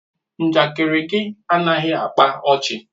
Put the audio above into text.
Njakịrị gị anaghị akpa ọchị.